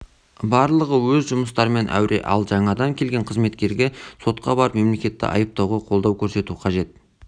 барлығы өз жұмыстарымен әуре ал жаңадан келген қызметкерге сотқа барып мемлекетті айыптауға қолдау көрсету қажет